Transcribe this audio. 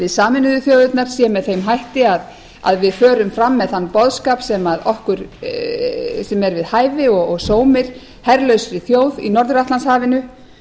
sameinuðu þjóðirnar sé með þeim hætti að við förum fram með þann boðskap sem er við hæfi og sómir herlausri þjóð í norður atlantshafinu